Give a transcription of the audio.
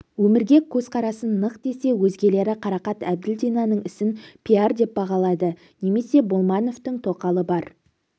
өмірге көзқарасы нық десе өзгелері қарақат әбділдинаның ісін пиар деп бағалады немесе болмановтың тоқалы бар